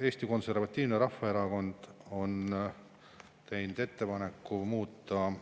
Eesti Konservatiivne Rahvaerakond on teinud ettepaneku muuta